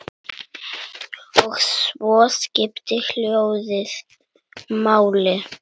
Og svo skiptir hljóðið máli.